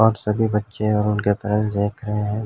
और सभी बच्चे और उनके पेरेंट्स देख रहे हैं।